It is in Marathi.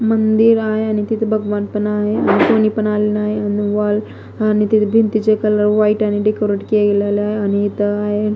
मंदिर आहे आणि तिथं भगवान पण आहे आणि कोणी पण आली नाही आणि वॉल आणि तिथे भिंतीचे कलर वाईट ने डेकोरेट केलेलं आणि इथं हाय --